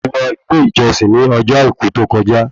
Mo lọ ilé ìjọsìn ní ọjọ́ àìkú tó kọjá